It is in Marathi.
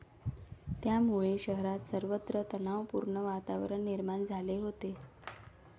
यामुळे शहरात सर्वत्र तणावपूर्ण वातावरण निर्माण झाले होते.